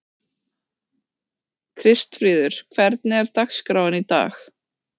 Kristfríður, hvernig er dagskráin í dag?